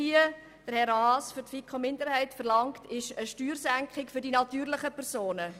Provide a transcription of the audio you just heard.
Doch Grossrat Haas verlangt nun im Namen der FiKo-Minderheit zusätzlich eine Steuersenkung für die natürlichenPersonen.